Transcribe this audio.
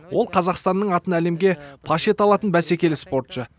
ол қазақстанның атын әлемге паш ете алатын бәсекелі спортшы